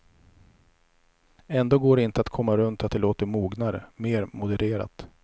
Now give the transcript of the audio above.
Ändå går det inte att komma runt att det låter mognare, mer modererat.